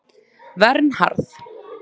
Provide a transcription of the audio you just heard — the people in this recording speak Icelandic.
Vernharð